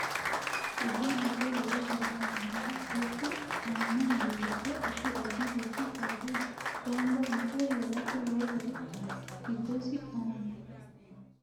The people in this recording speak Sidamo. Dubbu giddosi lowo horo aanoho dubbu aano horo giddo addi addi dubbu saada ganba yite heerate lowo horo giddosi aanoho